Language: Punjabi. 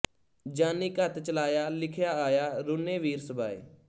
ਜਾਨੀ ਘਤਿ ਚਲਾਇਆ ਲਿਖਿਆ ਆਇਆ ਰੁਨੇ ਵੀਰ ਸਬਾਏ